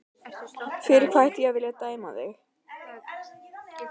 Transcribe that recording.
Fyrir hvað ætti ég að vilja dæma þig?